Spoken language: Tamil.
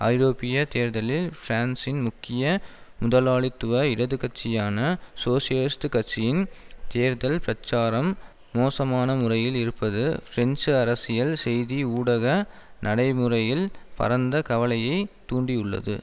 ஐரோப்பிய தேர்தலில் பிரான்சின் முக்கிய முதலாளித்துவ இடது கட்சியான சோசியலிஸ்ட் கட்சியின் தேர்தல் பிரச்சாரம் மோசமான முறையில் இருப்பது பிரெஞ்சு அரசியல் செய்தி ஊடக நடைமுறையில் பரந்த கவலையை தூண்டியுள்ளது